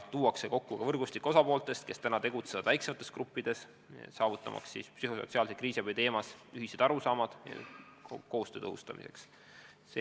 Veel on siht luua osapoolte võrgustik – praegu tegutsetakse väiksemates gruppides –, et jõuda ühiste arusaamadeni, kuidas psühhosotsiaalses kriisiabis koostööd tõhustada.